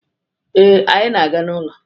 Ee, anyị na-aga n'ụlọ.